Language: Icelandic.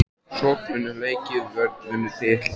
Sókn vinnur leiki vörn vinnur titla???